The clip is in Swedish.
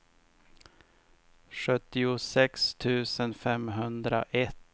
sjuttiosex tusen femhundraett